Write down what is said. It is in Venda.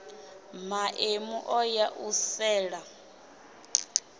maemu o ya u sela